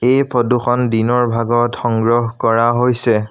এই ফটোখন দিনৰ ভাগত সংগ্ৰহ কৰা হৈছে।